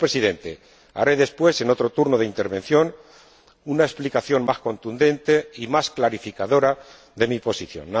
Señor Presidente, daré después, en mi siguiente turno de intervención, una explicación más contundente y más clarificadora de mi posición.